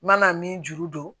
N mana min juru don